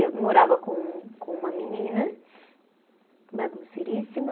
Eu morava com com uma menina bagunceiríssima.